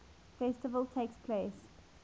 festival takes place